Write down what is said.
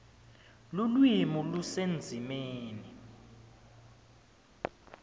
lulwimi lusendzimeni